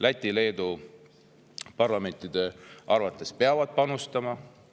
Läti ja Leedu parlamendi arvates peavad ka panustama.